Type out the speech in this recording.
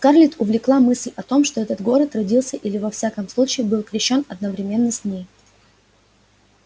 скарлетт увлекла мысль о том что этот город родился или во всяком случае был крещён одновременно с ней